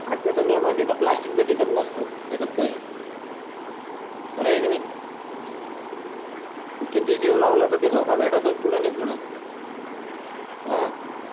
आजच्या दुनिया मध्ये त प्लास्टिक भी टिकत नस्त त्याचात काय आहे खर आहे कि ना किती हि जीव लावलत ते धोका भेटतोच कूड न कूड आ